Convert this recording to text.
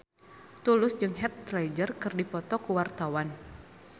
Tulus jeung Heath Ledger keur dipoto ku wartawan